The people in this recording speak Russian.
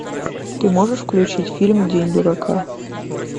ты можешь включить фильм день дурака